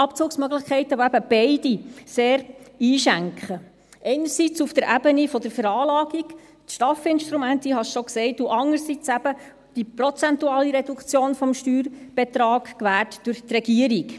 Abzugsmöglichkeiten, die eben beide sehr «einschenken», einerseits auf der Ebenen der Veranlagung, dem STAF-Instrument – ich habe es bereits gesagt – und andererseits eben die prozentuale Reduktion des Steuerbetrages gewährt durch die Regierung.